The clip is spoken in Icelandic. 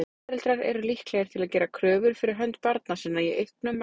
Foreldrar eru líklegir til að gera kröfur fyrir hönd barna sinna í auknum mæli.